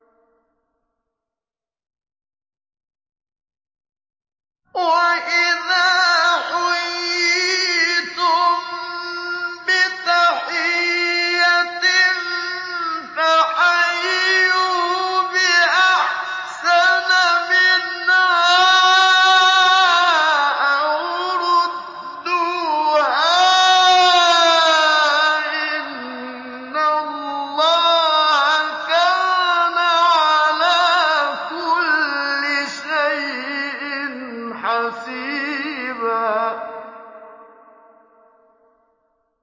وَإِذَا حُيِّيتُم بِتَحِيَّةٍ فَحَيُّوا بِأَحْسَنَ مِنْهَا أَوْ رُدُّوهَا ۗ إِنَّ اللَّهَ كَانَ عَلَىٰ كُلِّ شَيْءٍ حَسِيبًا